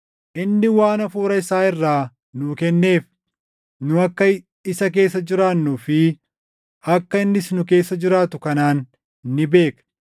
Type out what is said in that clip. Inni waan Hafuura isaa irraa nuu kenneef nu akka isa keessa jiraannuu fi akka innis nu keessa jiraatu kanaan ni beekna.